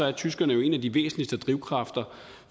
er tyskerne jo en af de væsentligste drivkræfter